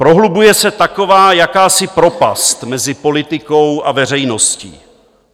"Prohlubuje se taková jakási propast mezi politikou a veřejností.